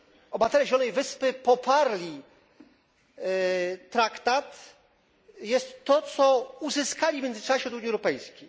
obywatele Zielonej Wyspy, poparli traktat, jest to, co uzyskali w międzyczasie od Unii Europejskiej.